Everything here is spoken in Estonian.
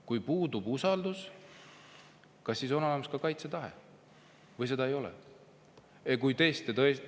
Kui puudub usaldus, kas siis on olemas kaitsetahe või seda ei ole?